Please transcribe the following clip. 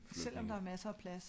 Selvom der er masser plads